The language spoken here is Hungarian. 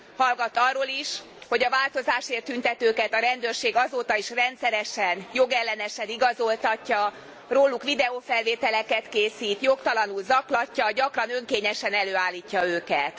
Hallgat arról is, hogy a változásért tüntetőket a rendőrség azóta is rendszeresen jogellenesen igazoltatja, róluk videofelvételeket készít, jogtalanul zaklatja, gyakran önkényesen előállítja őket.